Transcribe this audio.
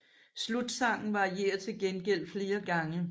Slutsangen varierer til gengæld flere gange